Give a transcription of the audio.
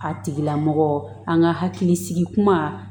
A tigilamɔgɔ an ka hakilisigi kuma